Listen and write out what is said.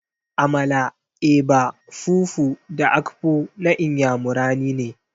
Amala, eba, fufu da akpu na Inyamurani ne.